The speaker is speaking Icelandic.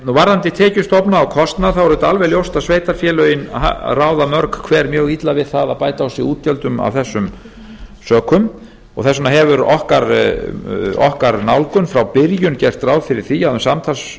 varðandi tekjustofna og kostnað er auðvitað alveg ljóst að sveitarfélögin ráða mörg hver mjög illa við það að bæta á sig útgjöldum af þessum sökum og þess vegna hefur okkar nálgun frá byrjun gert ráð fyrir því að um